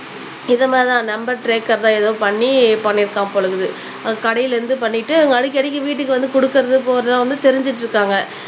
இத மாதிரி தான் நம்பர் ட்ரேக்கர் தான் எதோ பண்ணி பண்ணிருக்கான் போல இருக்குது அவன் கடைல இருந்து பண்ணிட்டு அவங்க அடிக்க அடிக்க வீட்டுக்கு வந்து குடுக்குறது போறது வந்து தெரிஞ்சுட்டு இருக்காங்க